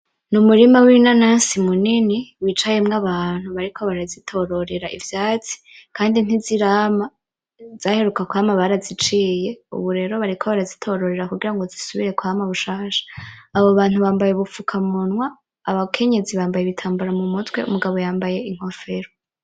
Ni umurima w'inanasi munini wicayemwo abantu bariko barazitororera ifise ivyatsi kandi ntizirama , izaheruka kwama baraziciye ubu rero bariko barazitororera kugira ngo zisubire kwama bushasha. Abo bantu bambaye ubufukamunwa, abakenyezi bambaye ibitambara mumutwe, abagabo nabo inkofero.